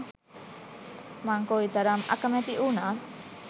මං කොයි කරම් අකැමති වුනත්